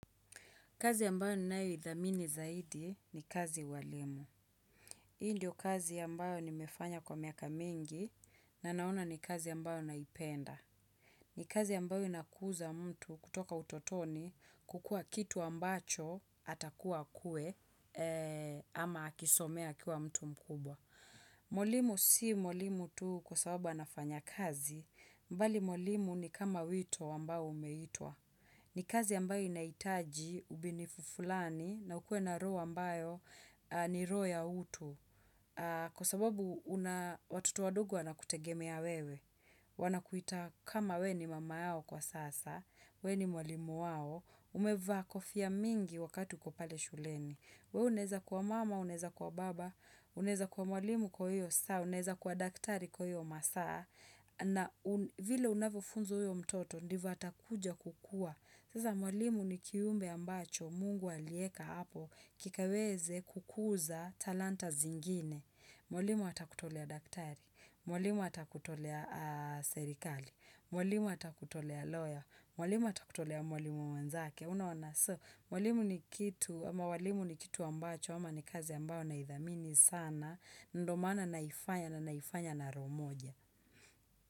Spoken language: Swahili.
Kazi ambayo ninayoithamini zaidi ni kazi ya ualimu. Hii ndio kazi ambayo nimefanya kwa miaka mingi na naona ni kazi ambayo naipenda. Ni kazi ambayo inakuza mtu kutoka utotoni kukua kitu ambacho atakuwa akue ama akisomea akiwa mtu mkubwa. Mwalimu si mwalimu tu kwa sababu anafanya kazi, bali ualimu ni kama wito ambayo umeitwa. Ni kazi ambayo inahitaji, ubinifu fulani, na ukue na roho ambayo ni roho ya utu. Kwa sababu una watoto wadogo wanakutegemea wewe. Wanakuita kama we ni mama yao kwa sasa, we ni mwalimu wao, umevaa kofia mingi wakati uko pale shuleni. We unaweza kuwa mama, unaweza kwa baba, unaweza kuwa mwalimu kwa hiyo saa, unaweza kuwa daktari kwa hiyo masaa. Na vile unavyofunza huyo mtoto ndivyo atakuja kukua. Sasa mwalimu ni kiumbe ambacho mungu alieka hapo kikaweze kukuza talanta zingine. Mwalimu atakutolea daktari. Mwalimu atakutolea serikali. Mwalimu atakutolea lawyer. Mwalimu atakutolea mwalimu mwenzake. Unaona so, mwalimu ni kitu ambacho ama ni kazi ambayo naithamini sana. Ndio maana naifanya na naifanya na roho moja.